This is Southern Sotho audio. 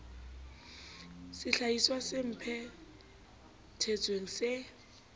sehlahiswa se phe thetsweng se